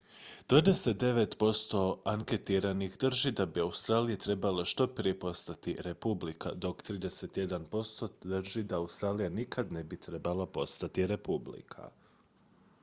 29 posto anketiranih drži da bi australija trebala što prije postati republika dok 31 posto drži da australija nikad ne bi trebala postati republika